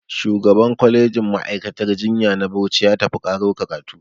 Shugaban kwalejin ma'aikatar jinya na Bauchi ya tafi ƙaro karatu